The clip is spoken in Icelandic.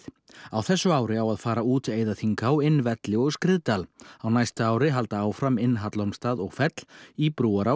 á þessu ári á að fara út Eiðaþinghá inn velli og Skriðdal á næsta ári halda áfram inn í Hallormsstað og fell í